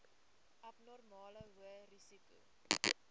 abnormale hoë risiko